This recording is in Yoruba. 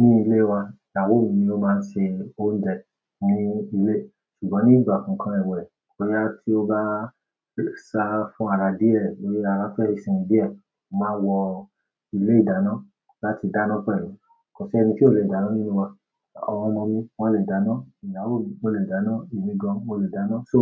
Ní ilé wa, ìyàwó mi ló máa ń ṣe oúnjẹ ní ilé. Ṣùgbọ́n ní ìgbà kan kan ẹwẹ̀, boyá tí ó bá sa fún ara díẹ̀, lórí ara fẹ́ sinmi díẹ̀, mo máa wọ ilé-ìdáná láti dáná pẹ̀lú. Kò sí ẹni tí ò le dáná nínú wa. Àwọn ọmọ mi wọ́n le dáná, ìyàwó mi ó le dáná, èmi gan-an mó le dáná, so.